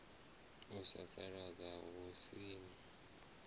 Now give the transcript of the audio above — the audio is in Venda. u sasaladza hu si na